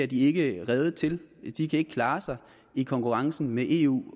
de ikke rede til de kan ikke klare sig i konkurrencen med eu